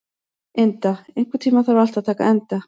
Inda, einhvern tímann þarf allt að taka enda.